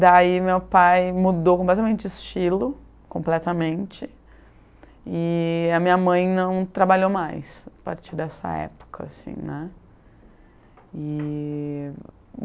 Daí meu pai mudou completamente de estilo, completamente, e a minha mãe não trabalhou mais a partir dessa época, assim né. E